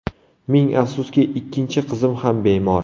Ming afsuski, ikkinchi qizim ham bemor.